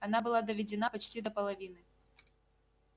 она была доведена почти до половины